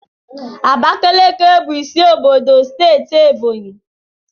Abakaliki bu isi obodo Ebonyi Steeti